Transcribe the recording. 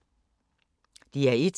DR1